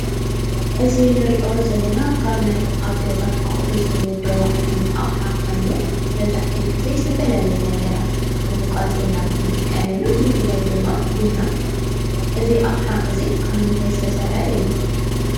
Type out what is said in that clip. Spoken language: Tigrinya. እዚ ንሪኦ ዘለና ካብ ናይ ኣብ ገዛኣቑሑ ዝምደቡ ባህላዊ ዝመደባ ዓይነት ኣቕሓ ኮይኑ መብዛሕቲኡ ግዜ ዝተፈላለዩ ነገራት ንምውቃጥ ኢና ንጥቀመሉ ብፍላይ ድማ ቡና። እዚ ኣቕሓ እዚ ካብ ምንታይ ዝተሰረሐ እዩ?